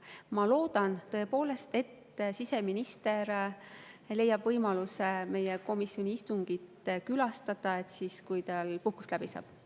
Ma loodan tõepoolest, et siseminister leiab võimaluse meie komisjoni istungit külastada, kui tal puhkus läbi saab.